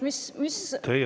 Teie aeg!